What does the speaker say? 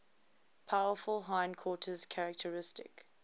powerful hindquarters characteristic